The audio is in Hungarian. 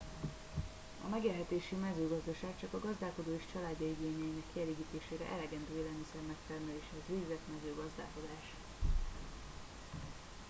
a megélhetési mezőgazdaság csak a gazdálkodó és családja igényeinek kielégítésére elegendő élelmiszer megtermeléséhez végzett mezőgazdálkodás